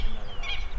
Bilmirəm, bilmirəm.